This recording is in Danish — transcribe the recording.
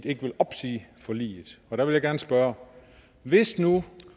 ikke vil opsige forliget og der vil jeg gerne spørge hvis nu